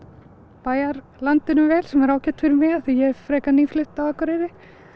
bæjarlandinu vel sem er ágætt fyrir mig af því að ég er frekar nýflutt Akureyrar